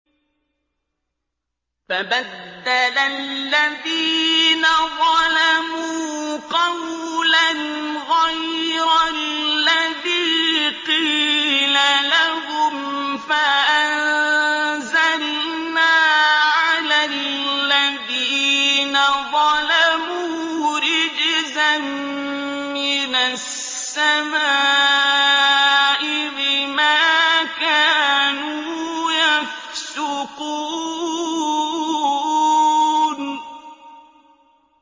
فَبَدَّلَ الَّذِينَ ظَلَمُوا قَوْلًا غَيْرَ الَّذِي قِيلَ لَهُمْ فَأَنزَلْنَا عَلَى الَّذِينَ ظَلَمُوا رِجْزًا مِّنَ السَّمَاءِ بِمَا كَانُوا يَفْسُقُونَ